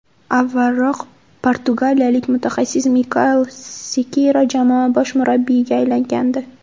Avvalroq portugaliyalik mutaxassis Mikael Sekeyra jamoa bosh murabbiyiga aylangandi .